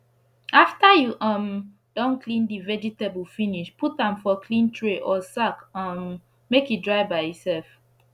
after u um don clean d vegetable finish put am for clean tray or sack um make e dry by e sef